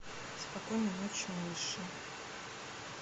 спокойной ночи малыши